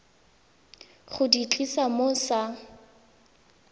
go di tlisa mo sa